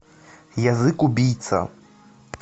язык убийца